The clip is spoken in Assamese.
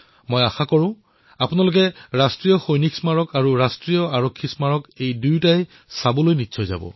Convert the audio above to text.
মই আশা প্ৰকাশ কৰিছো যে আপোনালোকে ৰাষ্ট্ৰীয় সৈনিক স্মাৰক আৰু ৰাষ্ট্ৰীয় আৰক্ষী স্মাৰক দৰ্শন কৰিবলৈ নিশ্চয়কৈ আহিব